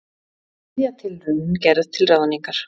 Þriðja tilraunin gerð til ráðningar